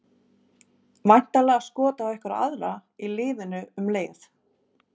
Væntanlega skot á einhverja aðra í liðinu um leið.